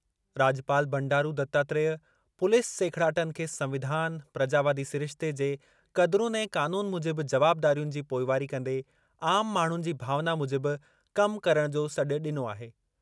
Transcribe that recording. राॼपाल Bandaru Dattatreya police सेखिड़ाटनि खे संविधान, प्रजावादी सिरिश्ते जे क़दरुनि ऐं क़ानून मूजिबि जवाबदारियुनि जी पोइवारी कंदे आम माण्हुनि जी भावना मूजिबि कम करण जो सॾु ॾिनो आहे।